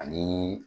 Ani